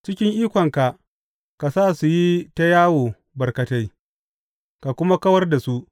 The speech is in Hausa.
Cikin ikonka ka sa su yi ta yawo barkatai, ka kuma kawar da su.